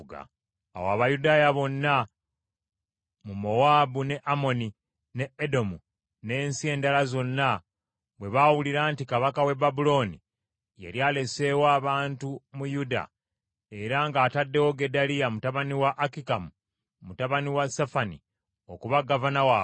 Awo Abayudaaya bonna mu Mowaabu, ne Amoni, ne Edomu n’ensi endala zonna bwe baawulira nti, Kabaka w’e Babulooni yali aleseeyo abantu mu Yuda era nga ataddewo Gedaliya mutabani wa Akikamu, mutabani wa Safani okuba Gavana waabwe,